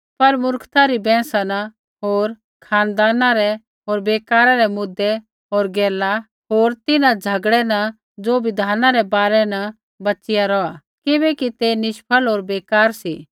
पर मुर्खता री बैंहसा न होर खानदाना रै होर बेकारा रै मुद्दे होर गैला होर तिन्हां झ़गड़ै न ज़ो बिधाना रै बारै न बचिया रौहै किबैकि ते निष्फल होर बेकार सी